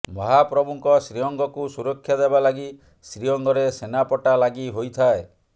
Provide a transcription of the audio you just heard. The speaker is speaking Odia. ମହାପ୍ରଭୁଙ୍କ ଶ୍ରୀଅଙ୍ଗକୁ ସୁରକ୍ଷା ଦେବା ଲାଗି ଶ୍ରୀଅଙ୍ଗରେ ସେନାପଟା ଲାଗି ହୋଇଥାଏ